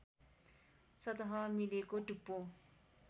सतह मिलेको टुप्पो